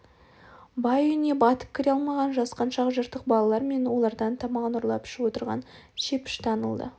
бай үйіне батып кіре алмаған жасқаншақ жыртық балалар мен олардан тамағын ұрлап ішіп отырған шепіш танылды